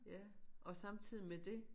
Ja og samtidigt med det